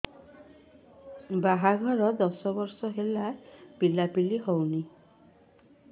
ବାହାଘର ଦଶ ବର୍ଷ ହେଲା ପିଲାପିଲି ହଉନାହି